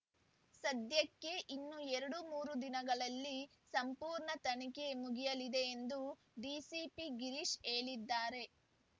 ಸದ್ಯಕ್ಕೆ ಇನ್ನೂ ಎರಡುಮೂರು ದಿನಗಳಲ್ಲಿ ಸಂಪೂರ್ಣ ತನಿಖೆ ಮುಗಿಯಲಿದೆ ಎಂದು ಡಿಸಿಪಿ ಗಿರೀಶ್ ಹೇಳಿದ್ದಾರೆ